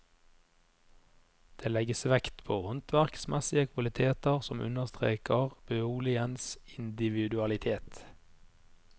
Det legges vekt på håndverksmessige kvaliteter som understreker boligens individualitet.